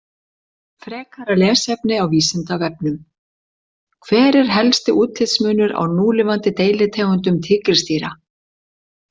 Frekara lesefni á Vísindavefnum: Hver er helsti útlitsmunur á núlifandi deilitegundum tígrisdýra?